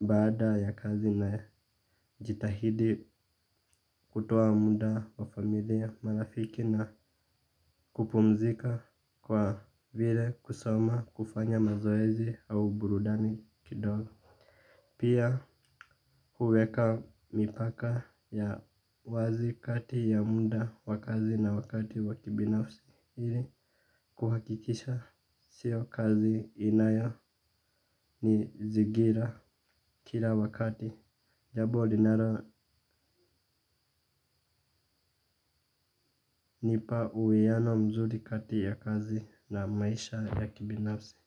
Baada ya kazi na jitahidi kutoa munda wa familia marafiki na kupumzika kwa vile kusoma kufanya mazoezi au burudani kidogo. Pia huweka mipaka ya wazi kati ya munda wa kazi na wakati wa kibinafsi. Hili kuhakikisha sio kazi inayonizigira kila wakati. Jabo linalonipa uwiano mzuri kati ya kazi na maisha ya kibinafsi.